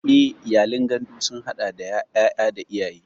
Eh, iyalin gandu sun hada da yaya da iyaye.